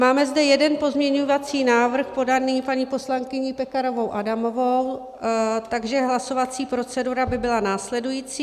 Máme zde jeden pozměňovací návrh podaný paní poslankyní Pekarovou Adamovou, takže hlasovací procedura by byla následující.